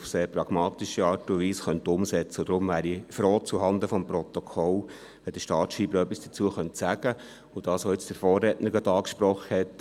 Vielleicht könnte er auch etwas zu dem sagen, was der Vorredner angesprochen hat.